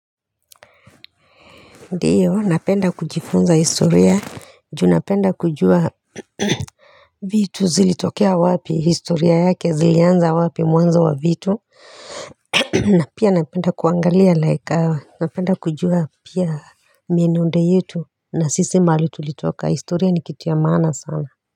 Ndiyo, napenda kujifunza historia, juu napenda kujua vitu zilitokea wapi, historia yake zilianza wapi mwanzo wa vitu, na pia napenda kuangalia like, napenda kujua pia mionendo yetu, na sisi mahali tulitoka, historia ni kitu ya maana sana.